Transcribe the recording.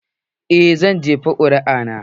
Eh, zan jefa ƙuri'a na.